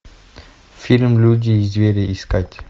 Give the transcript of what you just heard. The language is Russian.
фильм люди и звери искать